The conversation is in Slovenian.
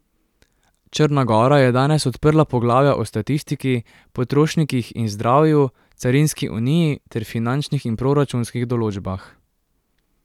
Črna gora je danes odprla poglavja o statistiki, potrošnikih in zdravju, carinski uniji ter finančnih in proračunskih določbah.